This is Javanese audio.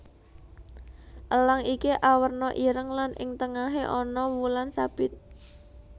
Elang iki awerna ireng lan ing tengahé ana wulan sabit